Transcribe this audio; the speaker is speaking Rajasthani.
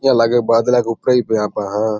यहाँ लागे बादला के ऊपर ही है।